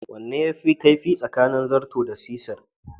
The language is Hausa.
Wane ne yafi kaifi tsakanin zarto da cisir?